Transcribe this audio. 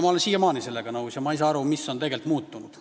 Ma olen siiamaani sellega nõus ega saa aru, mis on tegelikult muutunud.